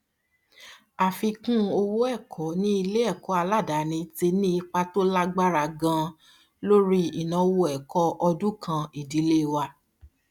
àfikún owó ẹkọ ní iléẹkọ aládàáni ti ní ipa tó lágbára ganan lórí ináwó ẹkọ ọdúnkàn ìdílé wa